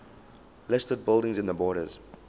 listed buildings in the borders